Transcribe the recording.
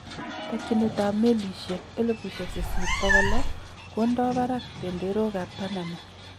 Takyinet ab meliisyek 8,600 kondoo barak benderook ab Panama